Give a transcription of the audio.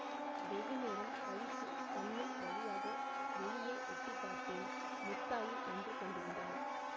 வெகுநேரம் கழித்துச் சன்னல் வழியாக வெளியே எட்டி பார்த்தேன் முத்தாயி நின்றுகொண்டிருந்தாள்